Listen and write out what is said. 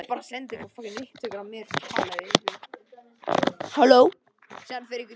Upphafleg spurning var svohljóðandi: